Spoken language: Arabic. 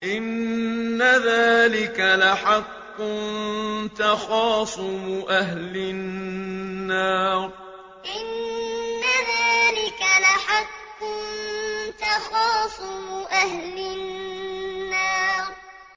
إِنَّ ذَٰلِكَ لَحَقٌّ تَخَاصُمُ أَهْلِ النَّارِ إِنَّ ذَٰلِكَ لَحَقٌّ تَخَاصُمُ أَهْلِ النَّارِ